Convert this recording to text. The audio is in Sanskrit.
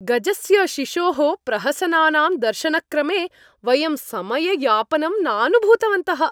गजस्य शिशोः प्रहसनानां दर्शनक्रमे वयं समययापनं नानुभूतवन्तः।